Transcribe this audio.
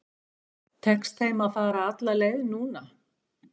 Tekst þeim að fara alla leið núna?